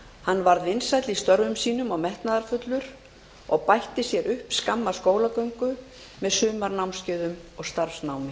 hann varð vinsæll í störfum sínum og metnaðarfullur og bætti sér upp skamma skólagöngu með sumarnámskeiðum og starfsnámi